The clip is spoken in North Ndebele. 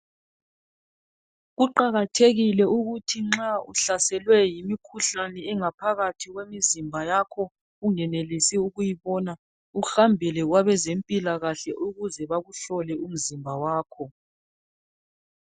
kuqhakathekile ukuthi nxa uhlaselwe yimikhuhlane engaphakathi kwemizimbayakho ungenelisi ukuyibona uhambele kwabezempilakahle ukuze bakuhloea umzimba wakho